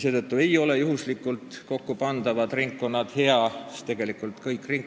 Seetõttu ei ole hea valimisringkondi juhuslikult kokku panna.